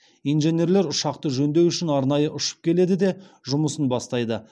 инженерлер ұшақты жөндеу үшін арнайы ұшып келеді де жұмысын бастайды